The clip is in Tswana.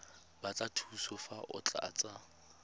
batla thuso fa o tlatsa